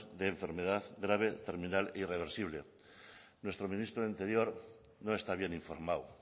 de enfermedad grave terminal irreversible nuestro ministro de interior no está bien informado